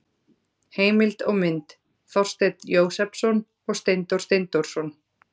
Heimild og mynd: Þorsteinn Jósepsson og Steindór Steindórsson.